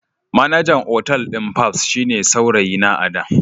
Manajan otal din fabs shine saurayina a da.